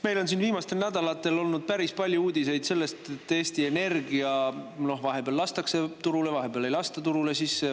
Meil on siin viimastel nädalatel olnud päris palju uudiseid sellest, et Eesti Energia vahepeal lastakse turule, vahepeal ei lasta turule.